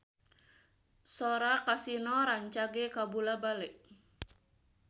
Sora Kasino rancage kabula-bale